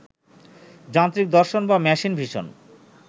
যান্ত্রিক দর্শন বা মেশিন ভিশন